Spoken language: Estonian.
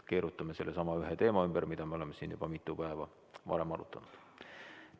Keerutame sellesama ühe teema ümber, mida me oleme siin juba mitu päeva arutanud.